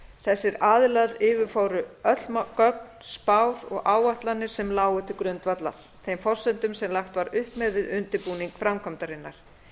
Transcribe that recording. þessir aðilar yfirfóru öll gögn spár og áætlanir sem lágu til grundvallar þeim forsendum sem lagt var upp með við undirbúning framkvæmdarinnar